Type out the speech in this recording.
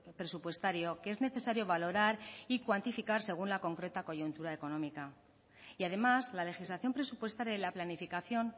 presupuestario que es necesario valorar y cuantificar según la concreta coyuntura económica y además la legislación presupuestaria y la planificación